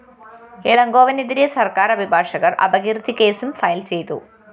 ഇളങ്കോവനെതിരെ സര്‍ക്കാര്‍ അഭിഭാഷകര്‍ അപകീര്‍ത്തിക്കേസും ഫയൽ ചെയ്തു